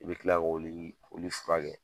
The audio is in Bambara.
I bɛ kila k'o wili k'olu furakɛ